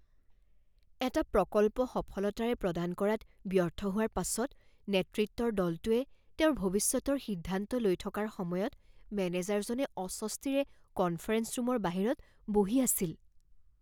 এটা প্ৰকল্প সফলতাৰে প্ৰদান কৰাত ব্যৰ্থ হোৱাৰ পাছত নেতৃত্বৰ দলটোৱে তেওঁৰ ভৱিষ্যতৰ সিদ্ধান্ত লৈ থকাৰ সময়ত মেনেজাৰজনে অস্বস্তিৰে কনফাৰেঞ্চ ৰুমৰ বাহিৰত বহি আছিল।